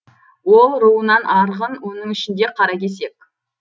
ол руынан арғын оның ішінде қаракесек